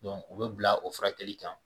u bɛ bila o furakɛli kan